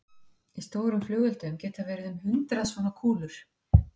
Í stórum flugeldum geta verið um hundrað svona kúlur.